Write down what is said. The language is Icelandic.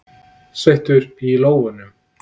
Sveittur í lófunum.